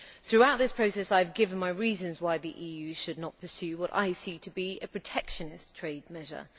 Throughout this process I have given my reasons why the EU should not pursue what I see to be a protectionist trade measure.